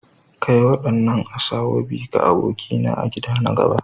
Kai wadannan Asoebi ga abokina a gida na gaba.